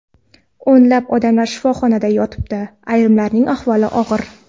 O‘nlab odamlar shifoxonada yotibdi, ayrimlarning ahvoli og‘ir.